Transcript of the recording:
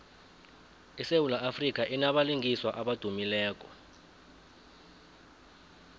isewula afrika inabalingiswa abadumileko